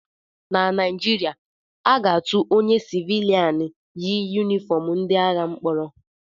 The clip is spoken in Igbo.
Na Naijiria, aga-atụ onye sịvịlịan yi yunifọm ndị agha mkpọrọ